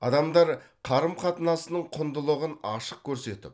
адамдар қарым қатынасының құндылығын ашық көрсетіп